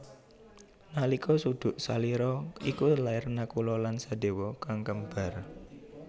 Nalika suduk salira iku lair Nakula lan Sadewa kang kembar